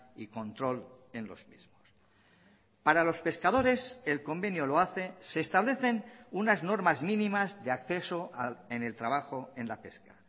y control en los mismos para los pescadores el convenio lo hace se establecen unas normas mínimas de acceso en el trabajo en la pesca